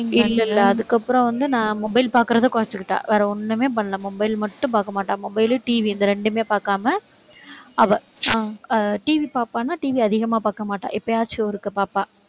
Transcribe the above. இல்லை, இல்லை. அதுக்கப்புறம் வந்து, நான் mobile பார்க்கிறத குறைச்சுக்கிட்டா. வேற ஒண்ணுமே பண்ணலை mobile மட்டும் பார்க்க மாட்டா. mobile, TV இந்த ரெண்டுமே பார்க்காம அவ TV பார்ப்பான்னா TV அதிகமா பார்க்க மாட்டா. எப்பயாச்சும் ஒருக்கா பார்ப்பா